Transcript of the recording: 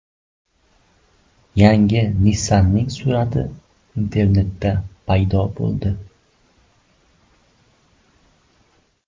Yangi Nissan’ning surati internetda paydo bo‘ldi.